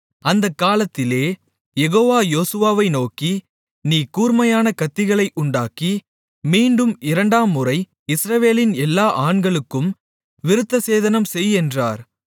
அந்தக் காலத்திலே யெகோவா யோசுவாவை நோக்கி நீ கூர்மையான கத்திகளை உண்டாக்கி மீண்டும் இரண்டாம்முறை இஸ்ரவேலின் எல்லா ஆண்களுக்கும் விருத்தசேதனம் செய் என்றார்